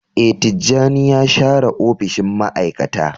Ee, Tijjani ya share opishin ma'aikata.